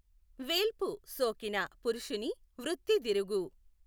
వేల్పు సోకిన పురుషుని వృత్తి దిరుగు